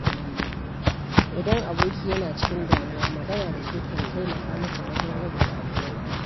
Idan aboki yana cikin damuwa, magana da shi kan taimaka masa wajen rage damuwar.